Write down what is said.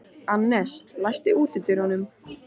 Annes, læstu útidyrunum.